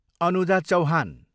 Anuja Chauhan